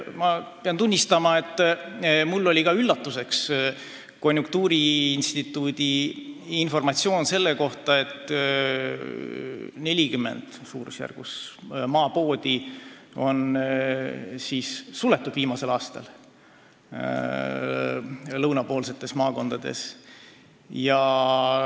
Ma pean tunnistama, et mulle oli üllatuseks konjunktuuriinstituudi informatsioon selle kohta, et umbes 40 maapoodi on viimasel aastal meie lõunapoolsetes maakondades suletud.